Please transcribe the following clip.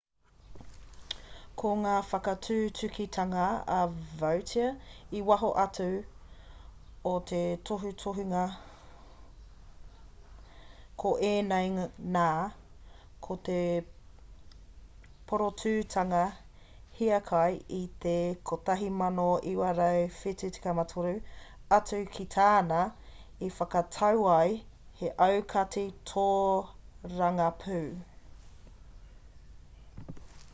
ko ngā whakatutukitanga a vautier i waho atu o te tohutohunga ko ēnei nā ko te porotūtanga hiakai i te 1973 atu ki tāna i whakatau ai he aukati tōrangapū